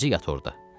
Gecə yat orada.